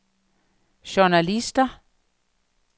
journalister